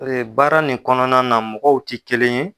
Ee baara nin kɔnɔna na mɔgɔw tɛ kelen ye.